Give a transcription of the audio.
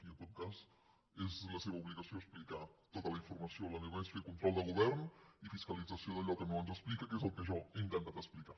i en tot cas és la seva obligació explicar tota la informació la meva és fer control de govern i fiscalització d’allò que no ens explica que és el que jo he intentat explicar